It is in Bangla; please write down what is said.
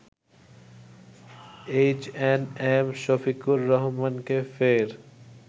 এইচএনএম শফিকুর রহমানকে ফের